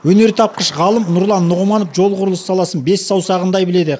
өнертапқыш ғалым нұрлан нұғыманов жол құрылысы саласын бес саусағындай біледі